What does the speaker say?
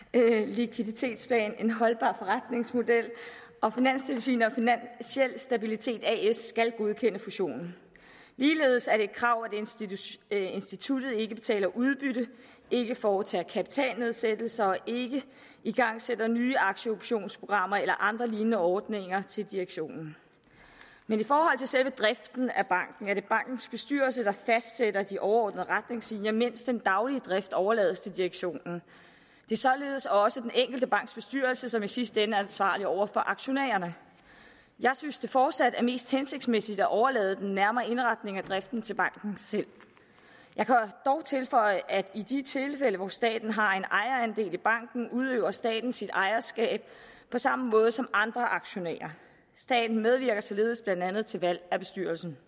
likviditetsplan og en holdbar forretningsmodel og finanstilsynet og finansiel stabilitet as skal godkende fusionen ligeledes er det et krav at instituttet ikke betaler udbytte ikke foretager kapitalnedsættelser og ikke igangsætter nye aktieoptionsprogrammer eller andre lignende ordninger til direktionen men i forhold til selve driften af banken er det bankens bestyrelse der fastsætter de overordnede retningslinjer mens den daglige drift overlades til direktionen det er således også den enkelte banks bestyrelse som i sidste ende er ansvarlig over for aktionærerne jeg synes det fortsat er mest hensigtsmæssigt at overlade den nærmere indretning af driften til banken selv jeg kan dog tilføje at i de tilfælde hvor staten har en ejerandel i banken udøver staten sit ejerskab på samme måde som andre aktionærer staten medvirker således blandt andet til valg af bestyrelsen